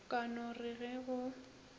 ka no re ge go